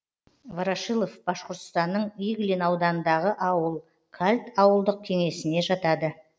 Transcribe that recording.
ворошилов башқұртстанның иглин ауданындағы ауыл кальт ауылдық кеңесіне жатады